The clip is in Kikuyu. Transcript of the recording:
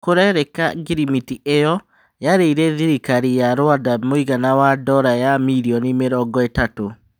Kũrerĩka ngirimiti ĩyo yarĩire thirikari ya Ruanda mũigana wa ndola ya mirioni mĩrongo-ĩtatũ.